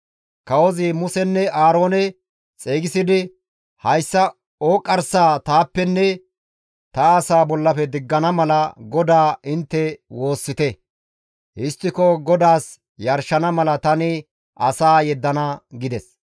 Kawozi Musenne Aaroone xeygisidi, «Hayssa ooqqarsaa taappenne ta asaa bollafe diggana mala GODAA intte woossite; histtiko GODAAS yarshana mala tani asaa yeddana» gides.